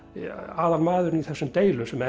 aðalmaðurinn í þessum deilum sem